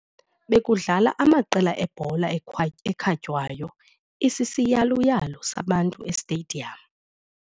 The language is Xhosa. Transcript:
Bekudlala amaqela ebhola ekhatywayo isisiyaluyalu sabantu esitediyamu.